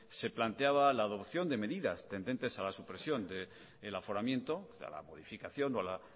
se planteaba la adopción de medidas tendentes a la supresión del aforamiento y a la modificación o a la